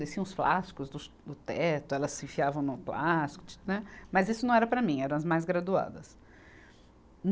Descia uns plásticos dos, do teto, elas se enfiavam num plástico, né, mas isso não era para mim, eram as mais graduadas.